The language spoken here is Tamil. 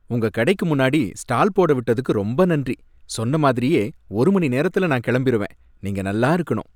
உங்க கடைக்கு முன்னாடி ஸ்டால் போட விட்டதுக்கு ரொம்ப நன்றி. சொன்ன மாதிரியே ஒரு மணி நேரத்துல நான் கிளம்பிருவேன், நீங்க நல்லா இருக்கணும்.